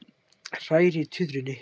Hræri í tuðrunni.